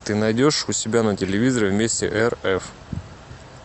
ты найдешь у себя на телевизоре вместе рф